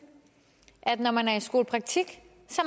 at når man er i skolepraktik